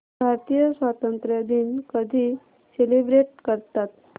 भारतीय स्वातंत्र्य दिन कधी सेलिब्रेट करतात